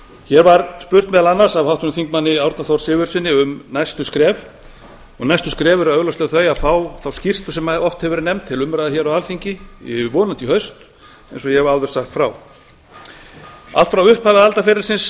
hér var spurt meðal annars af háttvirtum þingmanni árna þór sigurðssyni um næstu skref og næstu skref eru augljóslega þau að fá þá umræðu sem oft hefur verið nefnd á alþingi vonandi í haust eins og ég hef áður sagt frá allt frá upphafi aldaferilsins